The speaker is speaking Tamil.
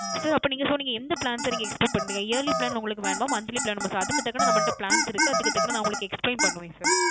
Sir அப்போ நீங்க So எந்த Plan Sir Expect பண்றீங்க Yearly Plan உங்களுக்கு வேணுமா Monthly plan வேணுமா அதுக்கு தக்குன நம்மல்ட Plans இருக்கு அதுக்கு தக்குன நா உங்களுக்கு Explain பண்ணுவேன் Sir